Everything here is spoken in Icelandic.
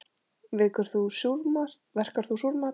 Verkar þú súrmat?